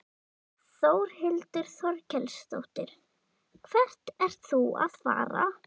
Þórhildur Þorkelsdóttir: Hvert ert þú að fara?